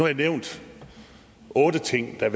jeg nævnt otte ting der